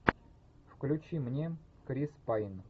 включи мне крис пайн